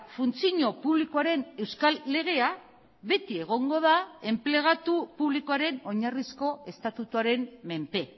funtzio publikoaren euskal legea beti egongo da enplegatu publikoaren oinarrizko estatutuaren menpe